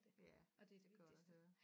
Ja det er godt at høre